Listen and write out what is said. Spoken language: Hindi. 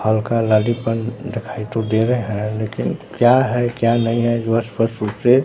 हल्का लालीपन दिखाई तो दे रहे हैं लेकिन क्या है क्या नहीं है जो है स्पष्ट रूप से--